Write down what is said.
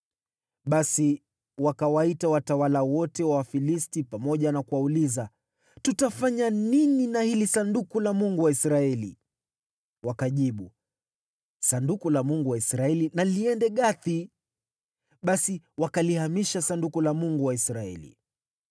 Basi wakawaita watawala wote wa Wafilisti pamoja na kuwauliza, “Tutafanya nini na hili Sanduku la Mungu wa Israeli?” Wakajibu, “Sanduku la Mungu wa Israeli na liende Gathi.” Basi wakalihamisha Sanduku la Mungu wa Israeli.